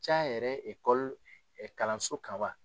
Ca yɛrɛ kalanso kan wa?